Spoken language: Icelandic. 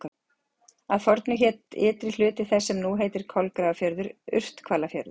Að fornu hét ytri hluti þess sem nú heitir Kolgrafafjörður Urthvalafjörður.